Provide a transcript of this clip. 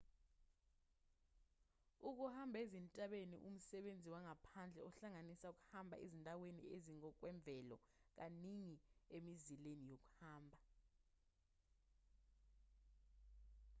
ukuhamba ezintabeni umsebenzi wangaphandle ohlanganisa ukuhamba ezindaweni ezingokwemvelo kaningi emizileni yokuhamba